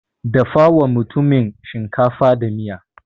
Dafawa mutumin shinkafa da miya.